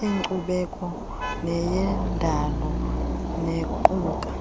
yenkcubeko neyendalo nequka